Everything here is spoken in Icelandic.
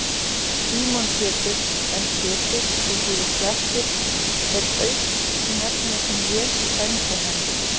Símon Pétur, en Pétur, sem þýðir klettur, er auknefni sem Jesús sæmdi hann.